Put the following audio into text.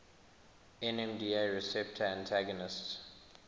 nmda receptor antagonists